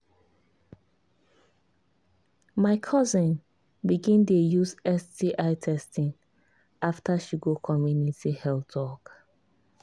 my cousin begin dey use sti testing after she go community health talk.